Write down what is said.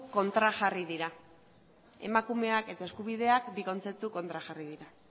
kontrajarriak dira emakumeak eta eskubideak bi kontzeptu kontrajarri dira